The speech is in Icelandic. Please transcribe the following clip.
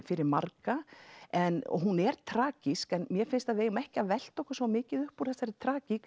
fyrir marga en hún er tragísk en mér finnst að við eigum ekki að velta okkur svona mikið uppúr þessari